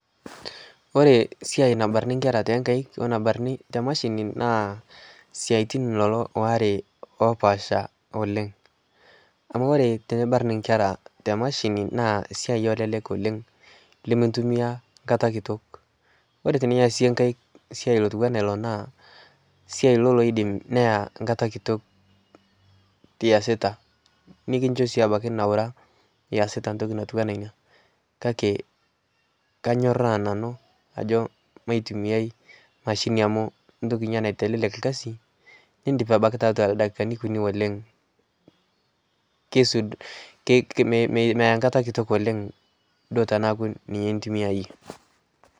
kore siai nabarnii nkera te empei o nabarnii te mashini naa siatin waare lolo lopaasha oleng amu kore tinibarn nkera te mashinii naa siai olelek oleng limintumia nkata kiitok kore tiniasie nkaik siai otuwana iloo naa siai ilo loidim neyaa nkata kitok easita nikinsho sii abaki nauraa easita ntoki natuwana inia kakee kanyoraa nanuu ajoo maitumiai mashinii amu ntoki inia naitelelek lkazi nindip abaki taatua ldakikani kunii oleng keisud meyaa nkata kitok oleng duo tanaaku ninye intumiayee